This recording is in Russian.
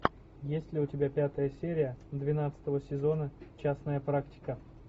есть ли у тебя пятая серия двенадцатого сезона частная практика